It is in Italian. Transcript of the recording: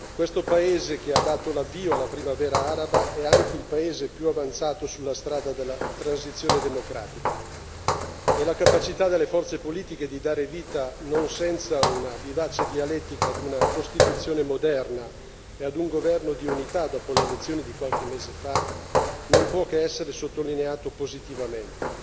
Questo paese che ha dato l'avvio alla Primavera araba è anche il paese più avanzato sulla strada della transizione democratica e la capacità delle forze politiche di dare vita, non senza una vivace dialettica, ad una Costituzione moderna e ad un governo di unità, dopo le elezioni di qualche mese fa, non può che essere sottolineata positivamente.